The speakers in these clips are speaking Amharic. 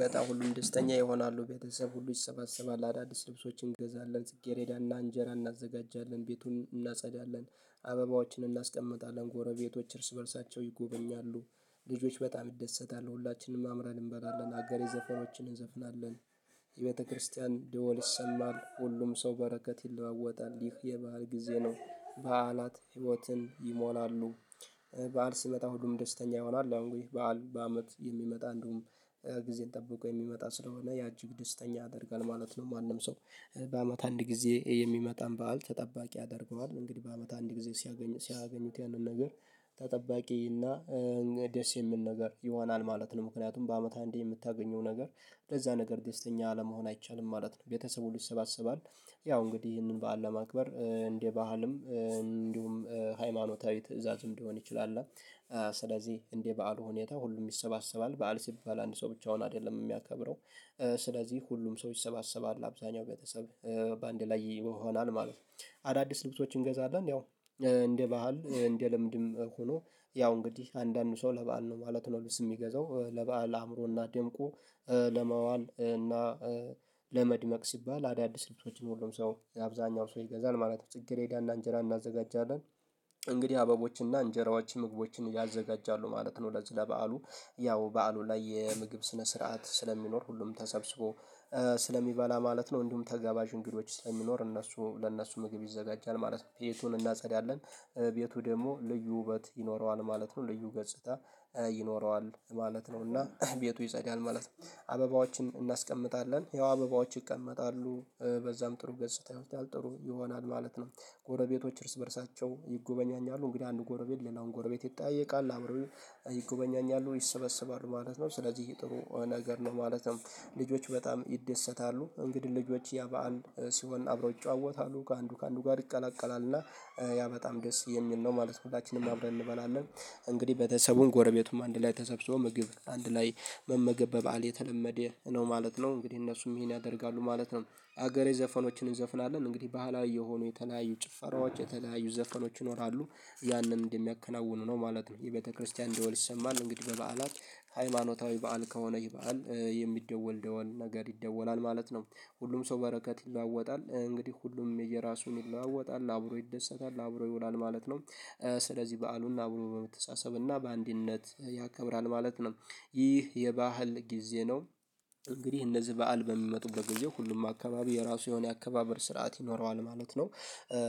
በጣም ሁሉም ደስተኛ ይሆናሉ ቤተሰብ ሁሉ ይሰባሰባል አዳዲስ ልብሶችን እንገዛለን ስኬሬዳና እንጀራ እናዘጋጃለን ቤቱን እናጸዳለን አበባዎችን እናስቀምጣለን ጎረቤቶች እርስ በርሳቸው ይጎበኛሉ ልጆች በጣም ይደሰታሉ ሁላችንም አምረን እንበላለን አገሬ ዘፈናዎችን እንዘፍናለን የቤተክርስቲያን ድወል ይሰማል ሁሉም ሰው በረከት ይለዋወጣል ይህ የበአል ጊዜ ነው። በዓላት ህይወትን ይሞላሉ። በዓል ሲመጣ ሁሉም ደስተኛ ይሆናል ያው እንግዲህ በዓል በአመት የሚመጣ እንደውም ጊዜን ጠብቆ የሚመጣ ስለሆነ ያ እጅግ ደስተኛ ያደርጋል ማለት ነው። ማንም ሰው። በአመት አንድ ጊዜ የሚመጣን በዓል ተጠባቂ ያደርገዋል እንግዲህ በአመት አንድ ጊዜ። ሲያገኙት ያንን ነገር ተጠባቂ እና ደስ የሚል ነገር ይሆናል ማለት ነው። ምክንያቱም በአመት አንዴ የምታገኘው ነገር ለዛ ነገር ደስተኛ አለመሆን አይቻልም ማለት ነው። ቤተሰቡን ይሰባሰባል። ያው እንግዲህ ይህንን በዓል ለማክበር እንደ ባህልም እንዲሁም ሃይማኖታዊ ትእዛዝም ሊሆን ይችላል። ስለዚህ እንደ በዓሉ ሁኔታ ሁሉም ይሰባሰባል በዓል ሲባል አንድ ሰው ብቻውን አይደለም የሚያከብረው። ስለዚህ ሁሉም ሰው ይሰባሰባል አብዛኛው ቤተሰብ በአንድ ላይ ይሆናል ማለት ነው። አዳዲስ ልብሶችን እንገዛለን። ያው እንደ ባህል እንደ ልምድም ሆኖ ያው እንግዲህ አንዳንድ ሰው ለባህል ነው ማለት ነው። ልብስ የሚገዛው ለበአል አእምሮና ደምቁ። ለማዋል እና ለመድመቅ ሲባል አዳዲስ ልብሶችን ሁሉም ሰው አብዛኛው ሰው ይገዛል ማለት ነው። ጽጌሬዳና እንጀራ እናዘጋጃለን። እንግዲህ አበቦችና እንጀራዎችን ምግቦችን ያዘጋጃሉ ማለት ነው። ለዚህ ለበዓሉ ያው በዓሉ ላይ የምግብ ስነ ስርዓት ስለሚኖር ሁሉም ተሰብስቦ ስለሚበላ ማለት ነው። እንዲሁም ተጋባዥ እንግዶች ስለሚኖር እነሱ ለእነሱ ምግብ ይዘጋጃል ማለት ነው። ቤቱን እናጸዳለን። ቤቱ ደግሞ ልዩ ውበት ይኖረዋል ማለት ነው። ልዩ ገጽታ ይኖረዋል ማለት ነው። እና ቤቱ ይጸዳል ማለት ነው። አበባዎችን እናስቀምጣለን ያው አበባዎች ይቀመጣሉ በዛም ጥሩ ገጽታዊ ህይወት ያልጥሩ ይሆናል ማለት ነው። ጎረቤቶች እርስ በእርሳቸው ይጎበኛኛሉ እንግዲህ አንድ ጎረቤት ሌላውን ጎረቤት ይጠያየቃል አብረው ይጎበኛኛሉ ይሰበሰባሉ ማለት ነው። ስለዚህ ጥሩ ነገር ነው። ማለትም ልጆች በጣም ይደሰታሉ። እንግዲህ ልጆች ያ በዓል ሲሆን አብረው ይጫወታሉ ከአንዱ ከአንዱ ጋር ይቀላቀላልና ያ በጣም ደስ የሚል ነው ማለት ነው። ሁላችንም አብረን እንበላለን። እንግዲህ ቤተሰቡም ጎረቤቱም አንድ ላይ ተሰብስቦ ምግብ አንድ ላይ መመገብ በባል የተለመደ ነው ማለት ነው። እንግዲህ እነሱም ይሄን ያደርጋሉ ማለት ነው። ሀገሬ ዘፈኖችን እንዘፍናለን እንግዲህ ባህላዊ የሆኑ የተለያዩ ጭፈራዎች የተለያዩ ዘፈኖች ይኖራሉ። ያንን እንደሚያከናውኑ ነው ማለት ነው። የቤተክርስቲያን ደወል ይሰማል እንግዲህ በበዓላት ሃይማኖታዊ በዓል ከሆነ ይህ በዓል የሚደወል ደወል ነገር ይደወላል ማለት ነው። ሁሉም ሰው በረከት ይለዋወጣል እንግዲህ ሁሉም የየራሱን ይለዋወጣል አብሮ ይደሰታል አብሮ ይውላል ማለት ነው። ስለዚህ በዓሉን አብሮ በመተሳሰብና በአንድነት ያከብራል ማለት ነው። ይህ የበአል ጊዜ ነው። እንግዲህ እነዚህ በዓል በሚመጡበት ጊዜ ሁሉም አካባቢ የራሱ የሆነ አካባቢ ስርዓት ይኖረዋል ማለት ነው።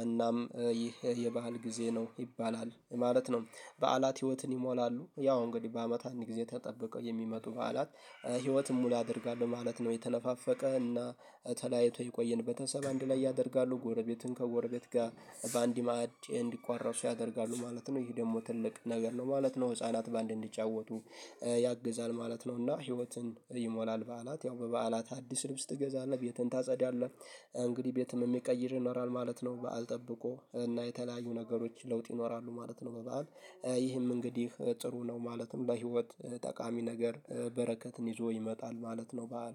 እናም ይህ የበአል ጊዜ ነው ይባላል ማለት ነው። በዓላት ህይወትን ይሞላሉ ያው እንግዲህ በአመት አንድ ጊዜ ተጠብቀው የሚመጡ በዓላት። ህይወትም ሙሉ አደርጋለሁ ማለት ነው። የተነፋፈቀ እና ተለያይቶ የቆየን በተሰበ አንድ ላይ ያደርጋሉ። ጎረቤትን ከጎረቤት ጋር በአንድ ማዕድ እንዲቋረሱ ያደርጋሉ ማለት ነው። ይህ ደግሞ ትልቅ ነገር ነው ማለት ነው። ህፃናት ባንድ እንዲጫወቱ ያግዛል ማለት ነው። እና ህይወትን ይሞላል። በዓላት ያው በበዓላት አዲስ ልብስ ትገዛለህ ቤትህን ታጸዳለህ። እንግዲህ ቤትህም የሚቀይርህ ይኖራል ማለት ነው። በዓል ጠብቆ እና የተለያዩ ነገሮች ለውጥ ይኖራሉ ማለት ነው። በበዓል ይህም እንግዲህ ጥሩ ነው። ማለትም ለህይወት ጠቃሚ ነገር በረከትን ይዞ ይመጣል ማለት ነው። በዓል